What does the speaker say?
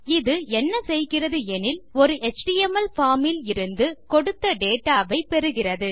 இது என்ன செய்கிறது எனில் ஒரு எச்டிஎம்எல் பார்ம் இலிருந்து கொடுத்த டேட்டா வை பெறுகிறது